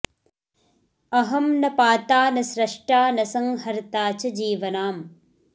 अहं न पाता न स्रष्टा न संहर्ता च जीवनाम्